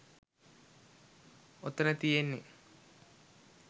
ඔතන තියෙන්නෙ